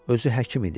Özü həkim idi.